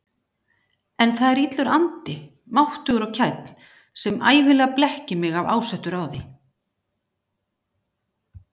En það er illur andi, máttugur og kænn, sem ævinlega blekkir mig af ásettu ráði.